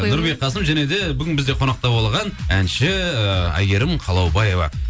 нұрбек қасым және де бүгін бізде қонақта болған әнші ыыы әйгерім қалаубаева